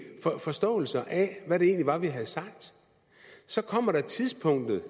forståelser af hvad det egentlig var vi havde sagt så kommer tidspunktet